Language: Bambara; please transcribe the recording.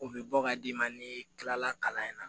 U bɛ bɔ ka d'i ma ni kilala kalan in na